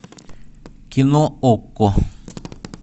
кино окко